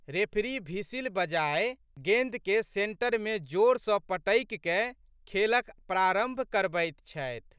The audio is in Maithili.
रेफरी भिसिल बजाए गेंदकेँ सेन्टरमे जोर सँ पटकिकए खेलक प्रारंभ करबैत छथि।